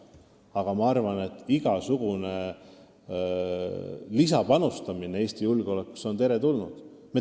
Samas ma arvan, et igasugune lisapanustamine Eesti julgeolekusse on teretulnud.